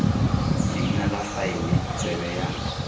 leina la faele tsebe ya